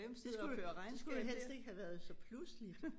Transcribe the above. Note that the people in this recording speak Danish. Det skulle jo det skulle jo helst ikke have været så pludseligt